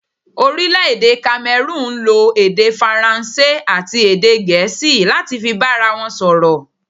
Orílẹ̀dè 'Kamerúnù n lo èdè faransé àti èdè gèésì láti fi bára won sòrò